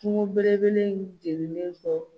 Kungo belebeleba in jenninen don.